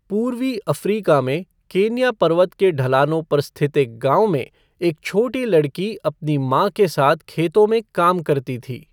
पूर्वी अफ्रीका में केन्या पर्वत के ढलानों पर स्थित एक गांव में, एक छोटी लड़की अपनी माँ के साथ खेतों में काम करती थी।